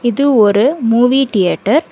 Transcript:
இது ஒரு movie theatre .